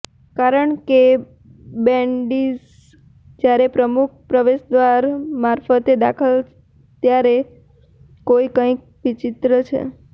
કારણ કે બેન્ડિટ્સ જ્યારે મુખ્ય પ્રવેશદ્વાર મારફતે દાખલ ત્યાં કોઈ કંઈક વિચિત્ર છે